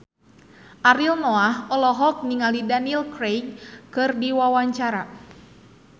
Ariel Noah olohok ningali Daniel Craig keur diwawancara